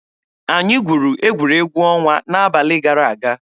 Anyị gwuru egwuregwu ọnwa n'abalị gara aga.